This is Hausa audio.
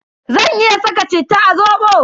Zan iya saka citta a zobo?